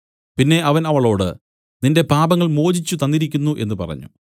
പിന്നെ അവൻ അവളോട് നിന്റെ പാപങ്ങൾ മോചിച്ചു തന്നിരിക്കുന്നു എന്നു പറഞ്ഞു